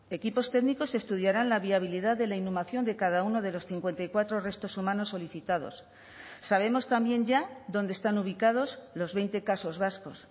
equipos técnicos estudiarán la viabilidad de la inhumación de cada uno de los cincuenta y cuatro restos humanos solicitados sabemos también ya dónde están ubicados los veinte casos vascos